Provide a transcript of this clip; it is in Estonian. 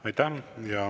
Aitäh!